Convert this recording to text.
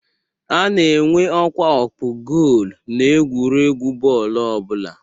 A na-enwe ọkwa ọkpụ goolu n'egwuregwu bọọlụ ọbụla